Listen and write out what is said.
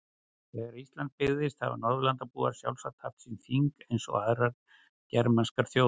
Þegar Ísland byggðist hafa Norðurlandabúar sjálfsagt haft sín þing eins og aðrar germanskar þjóðir.